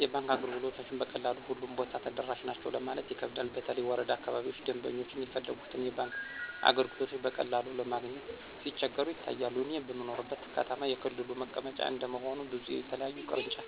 የባንክ አገልግሎቶችን በቀላሉ ሁሉም ቦታ ተደራሽ ናቸው ለማለት ይከብዳል በተለይ ወረዳ አካባቢዎች ደምበኞች የፈለጉትን የባንክ አገልግሎቶች በቀላሉ ለማግኘት ሲቸገሩ ይታያል። እኔ በምኖርበት ከተማ የክልሉ መቀመጫ እንደመሆኑ ብዙ የተለያዩ ቅርንጫፍ